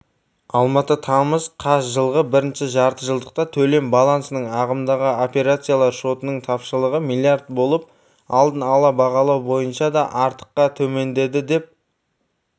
алматы тамыз қаз жылғы і-жартыжылдықта төлем балансының ағымдағы операциялар шотының тапшылығы млрд болып алдын ала бағалау бойынша да артыққа төмендеді деп